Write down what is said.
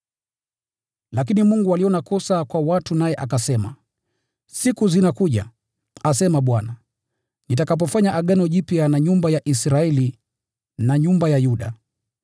Lakini Mungu aliona kosa kwa watu, naye akasema: “Siku zinakuja, asema Bwana, nitakapofanya agano jipya na nyumba ya Israeli na nyumba ya Yuda.